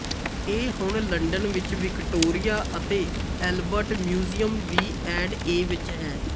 ਇਹ ਹੁਣ ਲੰਡਨ ਵਿੱਚ ਵਿਕਟੋਰੀਆ ਅਤੇ Albert museum V and A ਵਿੱਚ ਹੈ